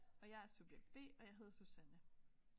Og jeg er subjekt B og jeg hedder Susanne